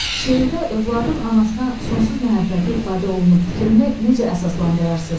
Şeirdə övladın anasına sonsuz məhəbbəti ifadə olunub fikrini necə əsaslandırasınız?